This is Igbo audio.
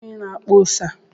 Kedu onye na-akpa ose a?